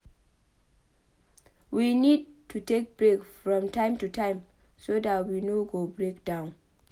we need to take break from time to time so dat we no go break down